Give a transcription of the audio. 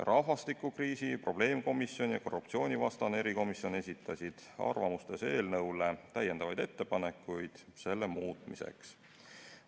Rahvastikukriisi probleemkomisjon ja korruptsioonivastane erikomisjon esitasid koos arvamustega ka mitu ettepanekut eelnõu muutmiseks.